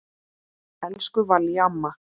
Elsku Vallý amma.